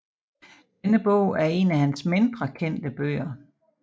Denne bog er en af hans mindre kendte bøger